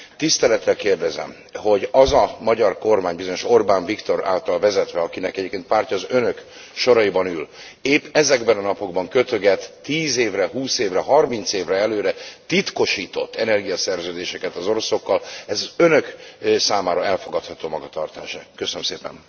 Tisztelettel kérdezem, hogy az a magyar kormány, bizonyos Orbán Viktor által vezetve akinek egyébként a pártja az Önök soraiban ül épp ezekben a napokban kötöget 10 évre, 20 évre, 30 évre előre titkosított energiaszerződéseket az oroszokkal, ez Önök számára elfogadható magatartás e?